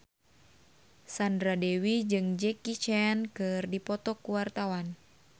Sandra Dewi jeung Jackie Chan keur dipoto ku wartawan